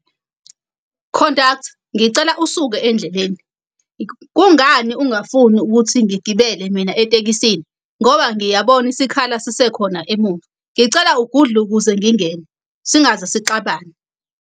Conductor, ngicela usuke endleleni. Kungani ungafuni ukuthi ngigibele mina etekisini, ngoba ngiyabona isikhala sisekhona emuva. Ngicela ugudluke ukuze ngingene, singaze sixabane.